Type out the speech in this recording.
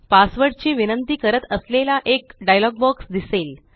password ची विनंती करत असलेला एक डायलॉग बॉक्स दिसेल